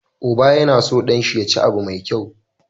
Uba yAna so dan shi ya cima abu me kyau